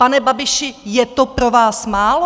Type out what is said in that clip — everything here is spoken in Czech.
Pane Babiši, je to pro vás málo?